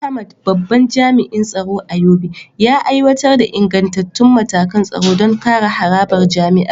Ahmad, babban jami’in tsaro a Yobe, ya aiwatar da ingantattun matakan tsaro don kare harabar jami’ar.